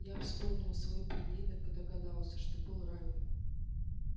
я вспомнил свой поединок и догадался что был ранен